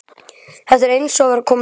Þetta er eins og að vera kominn heim.